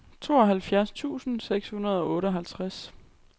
tooghalvfjerds tusind seks hundrede og otteoghalvfems